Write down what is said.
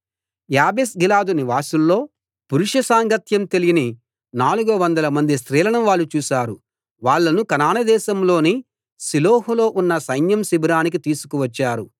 యాబేష్గిలాదు నివాసుల్లో పురుష సాంగత్యం తెలియని నాలుగు వందలమంది స్త్రీలను వాళ్ళు చూసారు వాళ్ళను కనాను దేశంలోని షిలోహు లో ఉన్న సైన్యం శిబిరానికి తీసుకు వచ్చారు